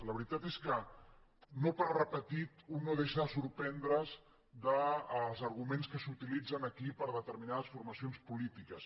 la veritat és que no per repetit un no deixa de sorprendre’s dels arguments que s’utilitzen aquí per determinades formacions polítiques